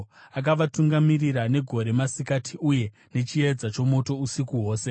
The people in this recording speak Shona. Akavatungamirira negore masikati, uye nechiedza chomoto usiku hwose.